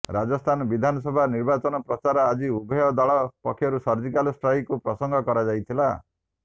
ରାଜସ୍ଥାନ ବିଧାନସଭା ନିର୍ବାଚନ ପ୍ରଚାରରେ ଆଜି ଉଭୟ ଦଳ ପକ୍ଷରୁ ସର୍ଜିକାଲ୍ ଷ୍ଟ୍ରାଇକ୍କୁ ପ୍ରସଙ୍ଗ କରାଯାଇଥିଲା